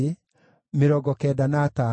na andũ a Senaa maarĩ 3,930.